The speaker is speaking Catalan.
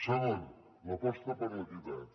segona l’aposta per l’equitat